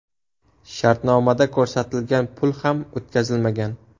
Shartnomada ko‘rsatilgan pul ham o‘tkazilmagan.